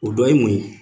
O dɔ ye mun ye